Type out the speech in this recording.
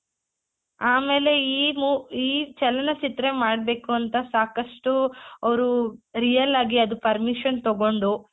ಆಮೇಲೆ ಈ ಈ ಚಲನಚಿತ್ರ ಮಾಡ್ಬೇಕು ಅಂತ ಸಾಕಷ್ಟು ಅವ್ರು real ಆಗಿ ಅದು permission ತಗೊಂಡು